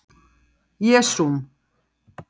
Þolfall: Jesúm